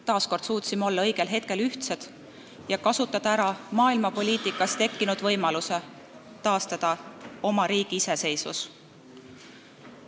Taas suutsime olla õigel hetkel ühtsed ja kasutada ära maailmapoliitikas tekkinud võimaluse taastada oma riigi iseseisvus.